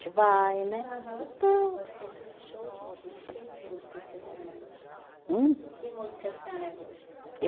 Vai, né? Aham. Então. Gosta de show de quê? Que músicas que a senhora gosta? Hum? Que música a senhora gosta?